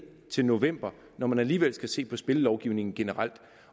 til november når man alligevel skal se på spillelovgivningen generelt